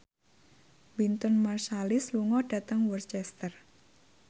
Wynton Marsalis lunga dhateng Worcester